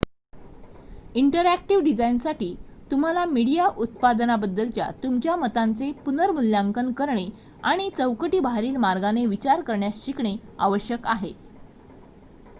interactive डिझाईनसाठी तुम्हाला media उत्पादनाबद्दलच्या तुमच्या मतांचे पुनर्मूल्यांकन करणे आणि चौकटी बाहेरील मार्गाने विचार करण्यास शिकणे आवश्यक आहे